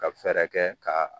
Ka fɛɛrɛ kɛ ka